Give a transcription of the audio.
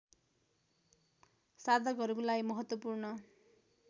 साधकहरूको लागि महत्त्वपूर्ण